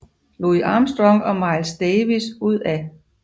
Louis Armstrong og Miles Davis ud af